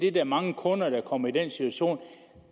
er mange kunder der kommer i den situation at